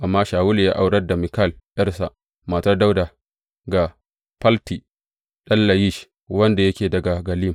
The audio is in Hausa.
Amma Shawulu ya aurar da Mikal, ’yarsa, matar Dawuda, ga Falti ɗan Layish wanda yake daga Gallim.